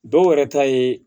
Dɔw yɛrɛ ta ye